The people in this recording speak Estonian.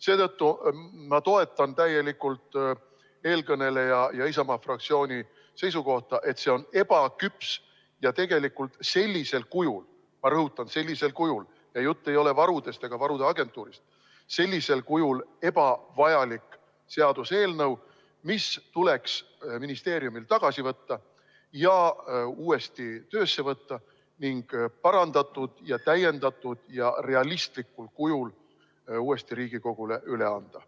Seetõttu ma toetan täielikult eelkõneleja ja Isamaa fraktsiooni seisukohta, et see on ebaküps ja tegelikult sellisel kujul – ma rõhutan, sellisel kujul, jutt ei ole varudest ega varude agentuurist – ebavajalik seaduseelnõu, mis tuleks ministeeriumil tagasi võtta, uuesti töösse võtta ning parandatud, täiendatud ja realistlikul kujul uuesti Riigikogule üle anda.